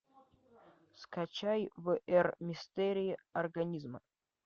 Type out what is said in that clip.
скачай в р мистерии организма